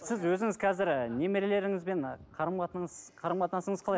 сіз өзіңіз қазір ы немерелеріңізбен қарым қатынасыңыз қалай